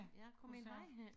Kunne det sagtens